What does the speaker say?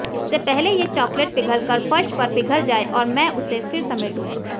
इससे पहले ये चॉकलेट पिघलकर फर्श पर पिघल जाए और मैं उसे फिर समेटूं